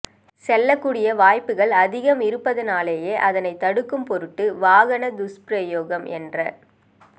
செல்லகூடிய வாய்ப்புக்கள் அதிகம் இருப்பதனாலேயே அதனை தடுக்கும் பொருட்டு வாகன துஸ்பிரயோகம் என்ற